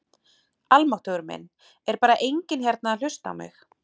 Almáttugur minn, er bara enginn hérna að hlusta á mig.